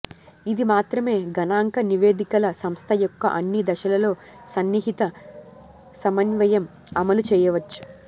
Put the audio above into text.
ఇది మాత్రమే గణాంక నివేదికల సంస్థ యొక్క అన్ని దశలలో సన్నిహిత సమన్వయం అమలు చేయవచ్చు